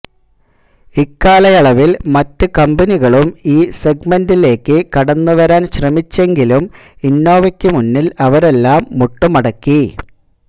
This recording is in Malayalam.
ഇക്കാലയളവിൽ മറ്റു കമ്പനികളും ഈ സെഗ്മെൻറിലേക്ക് കടന്നുവരാൻ ശ്രമിച്ചെങ്കിലും ഇന്നോവയ്ക്ക് മുമ്പിൽ അവരെല്ലാം മുട്ടുമടക്കി